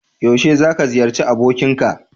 Yaushe za ka ziyarci abokinka?